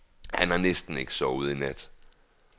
Han har næsten ikke sovet i nat.